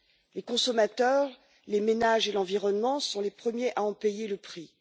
Les consommateurs, les ménages et l'environnement sont les premiers à en payer le prix.